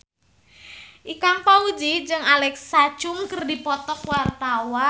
Ikang Fawzi jeung Alexa Chung keur dipoto ku wartawan